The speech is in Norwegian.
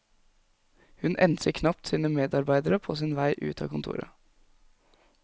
Hun enser knapt sine medarbeidere på sin vei ut av kontoret.